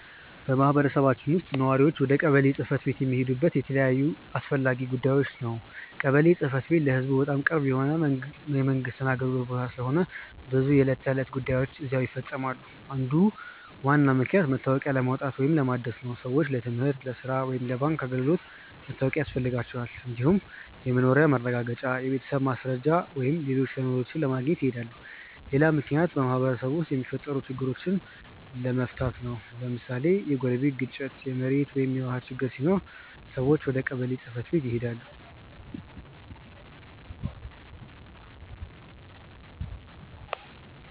በማህበረሰባችን ውስጥ ነዋሪዎች ወደ ቀበሌ ጽ/ቤት የሚሄዱት ለተለያዩ አስፈላጊ ጉዳዮች ነው። ቀበሌ ጽ/ቤት ለህዝቡ በጣም ቅርብ የሆነ የመንግስት አገልግሎት ቦታ ስለሆነ ብዙ የዕለት ተዕለት ጉዳዮች እዚያ ይፈፀማሉ። አንዱ ዋና ምክንያት መታወቂያ ለማውጣት ወይም ለማደስ ነው። ሰዎች ለትምህርት፣ ለሥራ ወይም ለባንክ አገልግሎት መታወቂያ ያስፈልጋቸዋል። እንዲሁም የመኖሪያ ማረጋገጫ፣ የቤተሰብ ማስረጃ ወይም ሌሎች ሰነዶችን ለማግኘት ይሄዳሉ። ሌላ ምክንያት በማህበረሰቡ ውስጥ የሚፈጠሩ ችግሮችን ለመፍታት ነው። ለምሳሌ የጎረቤት ግጭት፣ የመሬት ወይም የውሃ ችግር ሲኖር ሰዎች ወደ ቀበሌ ጽ/ቤት ይሄዳሉ።